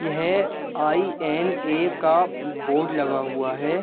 ये है आई.एन.ए का बोर्ड लगा हुआ हैं।